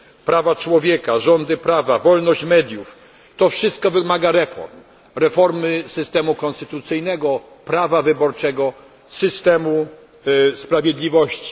prawa człowieka, rządy prawa, wolność mediów to wszystko wymaga reform, reformy systemu konstytucyjnego, prawa wyborczego, systemu sprawiedliwości.